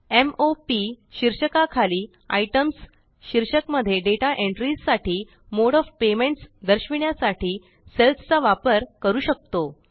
m o P शीर्षका खाली Itemsशीर्षक मध्ये डेटा एंट्रीस साठी मोडे ओएफ पेमेंट्स दर्शविण्यासाठी सेल्स चा वापर करू शकतो